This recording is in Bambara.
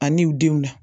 Ani u denw na